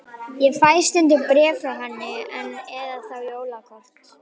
Ég fæ stundum bréf frá henni enn, eða þá jólakort.